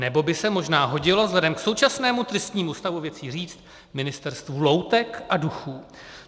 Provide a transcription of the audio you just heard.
Nebo by se možná hodilo vzhledem k současnému tristnímu stavu věcí říct, ministerstvu loutek a duchů.